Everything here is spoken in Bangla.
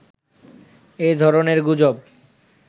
এ ধরনের গুজব